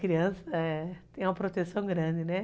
Criança tem uma proteção grande, né?